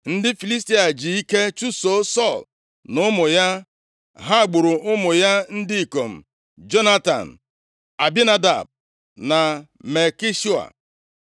Ndị Filistia ji ike chụso Sọl na ụmụ ya. Ha gburu ụmụ ya ndị ikom, Jonatan, Abinadab na Malkishua.